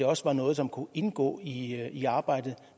også var noget som kunne indgå i i arbejdet